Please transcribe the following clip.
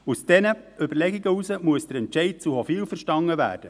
Aus diesen Überlegungen heraus muss der Entscheid zu Hofwil verstanden werden.